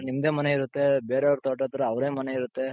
ನಿಮ್ದೆ ಮನೆ ಇರುತ್ತೆ ಬೇರೆ ಅವ್ರ್ ತೋಟದ ಹತ್ರ ಅವರದ್ದೇ ಮನೆ ಇರುತ್ತೆ,